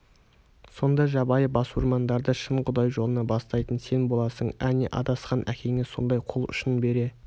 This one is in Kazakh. сонда жабайы басурмандарды шын құдай жолына бастайтын сен боласың әне адасқан әкеңе сонда қол ұшын бере